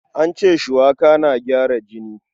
An ce shuwaka na gyara jini.